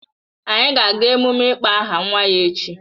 Anyị ga-aga emume ịkpọ aha nwa ya echi